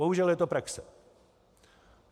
Bohužel je to praxe.